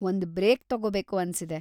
ಒಂದ್ ಬ್ರೇಕ್‌ ತಗೋಬೇಕು‌ ಅನ್ಸಿದೆ.